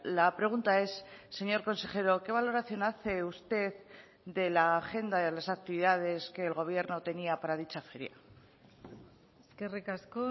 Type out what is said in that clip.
la pregunta es señor consejero qué valoración hace usted de la agenda de las actividades que el gobierno tenía para dicha feria eskerrik asko